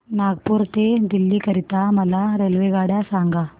नागपुर ते दिल्ली करीता मला रेल्वेगाड्या सांगा